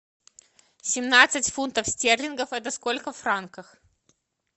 семнадцать фунтов стерлингов это сколько франков